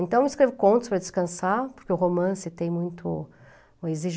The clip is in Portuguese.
Então, eu escrevo contos para descansar, porque o romance tem muito, exige